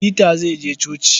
Peter zai je coci.